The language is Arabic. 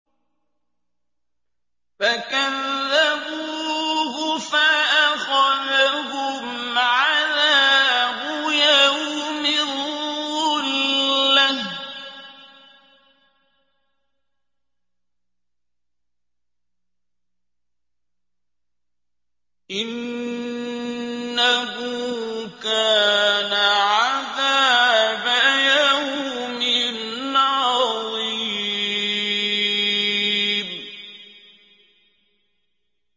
فَكَذَّبُوهُ فَأَخَذَهُمْ عَذَابُ يَوْمِ الظُّلَّةِ ۚ إِنَّهُ كَانَ عَذَابَ يَوْمٍ عَظِيمٍ